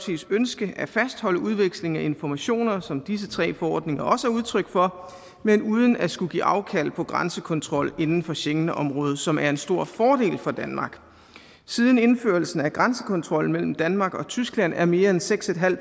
ønske at fastholde udveksling af informationer som disse tre forordninger også er udtryk for men uden at skulle give afkald på grænsekontrol inden for schengenområdet som er en stor fordel for danmark siden indførelsen af grænsekontrollen mellem danmark og tyskland er mere end seks